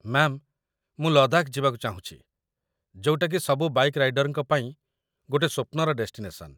Ma'am, ମୁଁ ଲଦାଖ ଯିବାକୁ ଚାହୁଁଚି, ଯୋଉଟାକି ସବୁ ବାଇକ୍‌ ରାଇଡର୍‌ଙ୍କ ପାଇଁ ଗୋଟେ ସ୍ୱପ୍ନର ଡେଷ୍ଟିନେସନ୍‌ ।